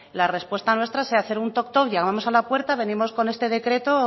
la respuesta nuestra sea hacer un toc toc llamamos a la puerta venimos con este decreto o